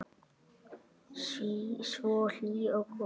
Svo hlý og góð.